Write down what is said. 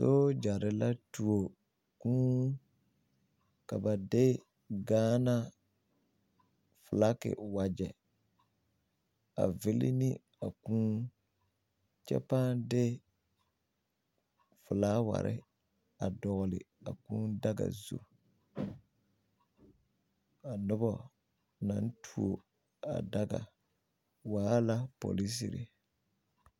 Sooɡyare la tuo kūū ka ba de gaana felake wagyɛ a vili ne a kūū kyɛ pãã de felaaware a dɔɡle a kūū daga zu a noba na tuo a daga waa la polisiri.